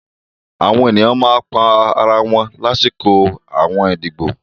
Àwọn ènìyàn pa àwọn ara wọn láṣọkọ àwọn ìdíbò